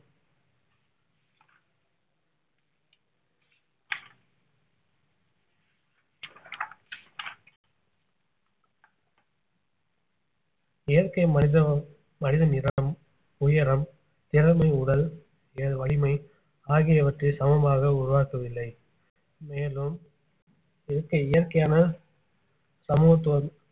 இயற்கை மனித~ மனிதன் நிறம் உயரம் திறமை உடல் வலிமை ஆகியவற்றை சமமாக உருவாக்கவில்லை மேலும் இயற்கை~ இயற்கையான சமூகத்துவம்